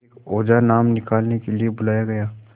एक ओझा नाम निकालने के लिए बुलाया गया